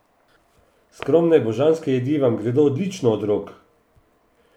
Skromne, božanske jedi vam gredo odlično od rok!